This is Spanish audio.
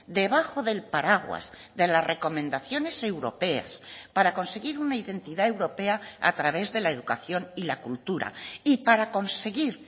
debajo del paraguas de las recomendaciones europeas para conseguir una identidad europea a través de la educación y la cultura y para conseguir